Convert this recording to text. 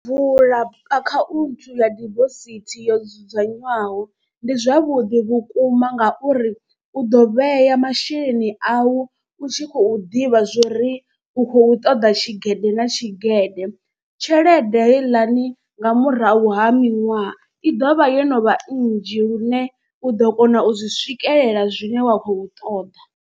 Vula akhaunthu ya dibosithi yo dzudzanywaho ndi zwavhuḓi vhukuma ngauri u ḓo vhea masheleni au. U tshi khou ḓivha zwa uri u khou u ṱoḓa tshigede na tshigede. Tshelede heiḽani nga murahu ha miṅwaha, i ḓovha yo novha nnzhi lune u ḓo kona u zwi swikelela zwine wa khou ṱoḓa.